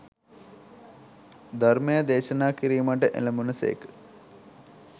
ධර්මය දේශනා කිරීමට එළැඹුණු සේක.